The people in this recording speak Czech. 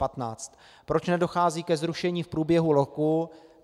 Proč nedochází ke zrušení v průběhu roku?